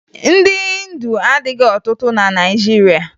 Ndị Hịndu adịghị ọtụtụ na Naịjirịa